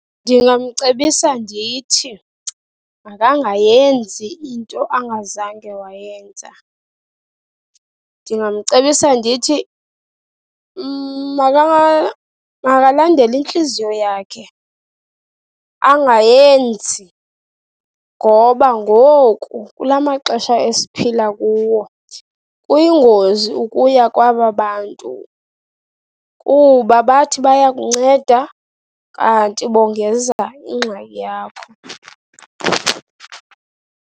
Ndingamcebisa ndithi makangayenzi into angazange wayenza. Ndingamcebisa ndithi makalandele intliziyo yakhe, angayenzi ngoba ngoku kula maxesha esiphila kuwo kuyingozi ukuya kwaba bantu kuba bathi bayakunceda, kanti bongeza ingxaki yakho.